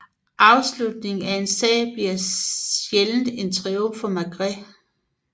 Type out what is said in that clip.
Afslutningen af en sag bliver sjældent en triumf for Maigret